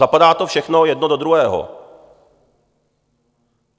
Zapadá to všechno jedno do druhého.